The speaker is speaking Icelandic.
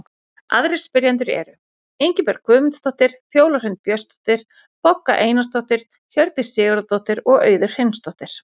Aðrir spyrjendur eru: Ingibjörg Guðmundsdóttir, Fjóla Hrund Björnsdóttir, Bogga Einarsdóttir, Hjördís Sigurðardóttir og Auður Hreinsdóttir.